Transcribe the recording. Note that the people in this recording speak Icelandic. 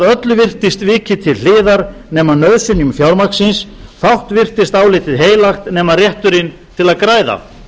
öllu virtist vikið til hliðar nema nauðsynjum fjármagnsins fátt virtist álitið heilagt nema rétturinn til að græða